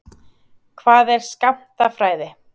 Hvað er skammtafræði?